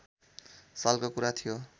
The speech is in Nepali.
सालको कुरा थियो